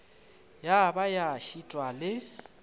ya ba ya šitwa le